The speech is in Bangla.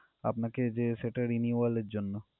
আপনাকে যে সেটা renewal এর জন্য।